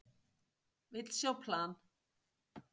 Vill sjá plan